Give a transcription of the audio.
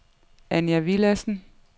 Anja Villadsen